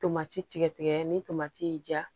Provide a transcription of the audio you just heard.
Tomati tigɛ tigɛ ni tomati y'i ja